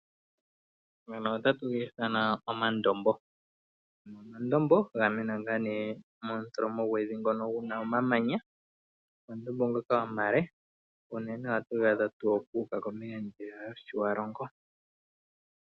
Omayima ngono otatu ga ithana omandombo. Omandombo gamena ngaa ne momutholomo gwevi ngono guna omamanya. Omandombo ngoka omale uunene ohatu gaadha tuu kuuka kombinga ndjiya yoshiwalongo.